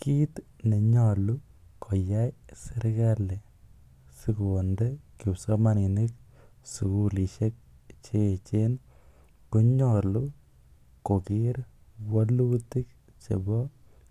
Kiit nenyolu koyai serkalit sikonde kipsomaninik sugulishek che echen konyolu koger wolutik chebo